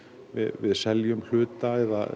við seljum hluta